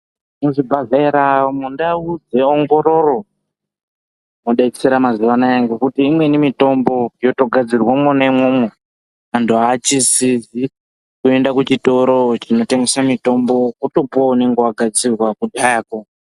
Muzvibhodhlera mundau dzeongororo mwodetsera mazuwanaya ngokuti imweni mitombo yotogadzirwa mwona imwomwo antu achisidzwi kuenda kuchitoro chinotengese mitombo otopuwa unenge wagadzirwa kudhayako.